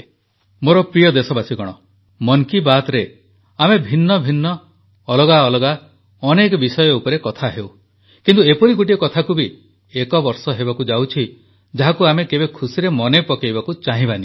ମୋର ପ୍ରିୟ ଦେଶବାସୀଗଣ ମନ୍ କୀ ବାତ୍ରେ ଆମେ ଭିନ୍ନ ଭିନ୍ନ ଅଲଗା ଅଲଗା ଅନେକ ବିଷୟ ଉପରେ କଥା ହେଉ କିନ୍ତୁ ଏପରି ଗୋଟିଏ କଥାକୁ ବି ଏକବର୍ଷ ହେବାକୁ ଯାଉଛି ଯାହାକୁ ଆମେ କେବେ ଖୁସିରେ ମନେ ପକାଇବାକୁ ଚାହିଁବା ନାହିଁ